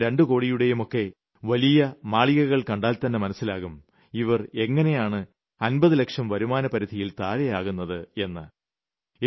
ഒരു കോടിയുടെയും രണ്ടു കോടിയുടെയുമൊക്കെ വലിയ മാളികകൾ കണ്ടാൽതന്നെ മനസ്സിലാകും ഇവർ എങ്ങിനെയാണ് 50 ലക്ഷം വരുമാനപരിധിയിൽ താഴെ ആകുന്നത് എന്ന്